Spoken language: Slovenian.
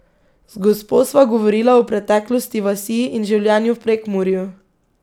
Z gospo sva govorila o preteklosti vasi in življenju v Prekmurju.